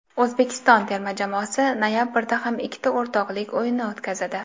O‘zbekiston terma jamoasi noyabrda ham ikkita o‘rtoqlik o‘yini o‘tkazadi.